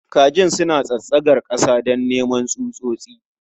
Kajin suna tsatsagar ƙasa don neman tsutsotsi.